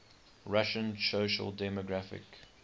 russian social democratic